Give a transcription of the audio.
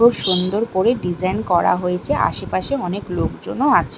খুব সুন্দর করে ডিজাইন করা হয়েছে আশেপাশে অনেক লোকজনও আছে।